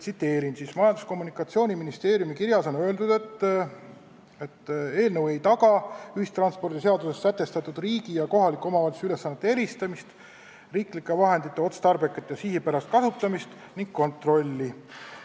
Majandus- ja Kommunikatsiooniministeeriumi kirjas on öeldud, et eelnõu ei taga ühistranspordiseaduses sätestatud riigi ja kohaliku omavalitsuse ülesannete eristamist, riiklike vahendite otstarbekat ja sihipärast kasutamist ning kontrolli.